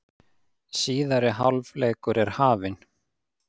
Síðari hálfleikur er hafinn